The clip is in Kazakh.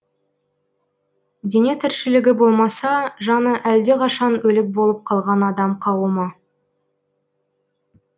дене тіршілігі болмаса жаны әлдеқашан өлік болып қалған адам қауымы